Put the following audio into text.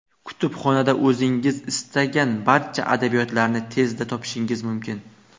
Kutubxonada o‘zingiz istagan barcha adabiyotlarni tezda topishingiz mumkin.